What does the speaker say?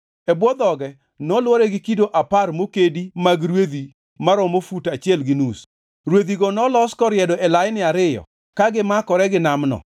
E bwo dhoge, nolwore gi kido apar mokedi mag rwedhi maromo fut achiel gi nus. Rwedhigo nolos koriedo e laini ariyo ka gimakore gi Namno.